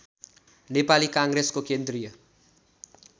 नेपाली काङ्ग्रेसको केन्द्रीय